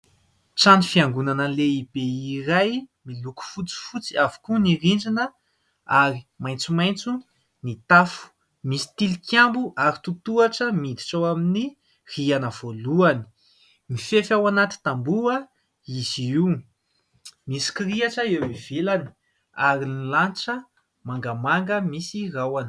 Trano fiangonana lehibe iray : miloko fotsifotsy avokoa ny rindrina, ary maitsomaitso ny tafo. Misy tilikambo, ary tohatohatra miditra ao amin'ny rihana voalohany. Mifefy ao anaty tamboho izy io, misy kiriatra eo ivelany, ary ny lanitra mangamanga misy rahona.